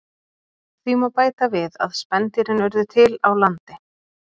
Því má bæta við að spendýrin urðu til á landi.